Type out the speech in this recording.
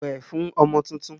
Wẹ̀ fún ọmọ tuntun!